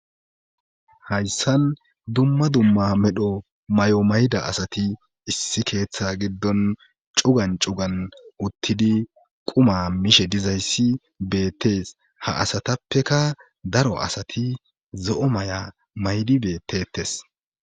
hayssan dumma dumma medho mayo mayda asati issi keeththa giddon cugan cugan uttidi quma mishe dizayssi beettees. ha asatappeka daro asati zo'o maya maydi beettettes.